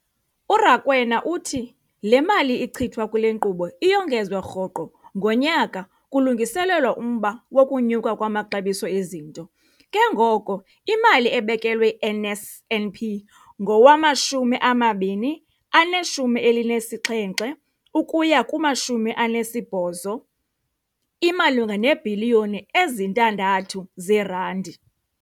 URakwena uthi le mali ichithwa kule nkqubo iyongezwa rhoqo ngonyaka kulungiselelwa umba wokunyuka kwamaxabiso ezinto, ke ngoko imali ebekelwe i-NSNP ngowama-2017 ukuya ku-18 imalunga neebhiliyoni ezi-6 zeerandi.